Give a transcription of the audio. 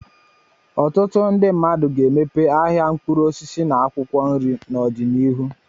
Ọtụtụ ndị mmadụ ga-emepe ahịa mkpụrụ osisi na akwụkwọ nri n'ọdịnihu.